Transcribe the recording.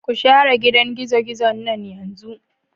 Ku share gidan gizo-gizon nan yanzu.